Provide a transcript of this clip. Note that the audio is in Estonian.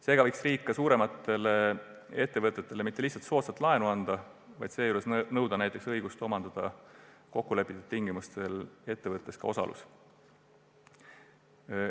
Seega võiks riik suuremate ettevõtete puhul mitte lihtsalt soodsat laenu anda, vaid nõuda neilt näiteks õigust omandada kokkulepitud tingimustel ettevõttes teatav osalus.